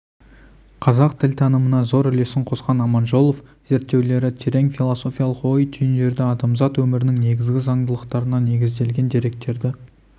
қазақ тілтанымына зор үлесін қосқан аманжолов зерттеулері терең философиялық ой түйіндерді адамзат өмірінің негізгі заңдылықтарына негізделген деректерді